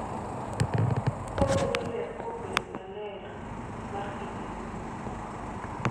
Koketo ler kuom bedo maler mar kindeno.